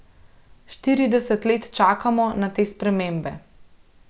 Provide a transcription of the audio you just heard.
Štirideset let čakamo na te spremembe.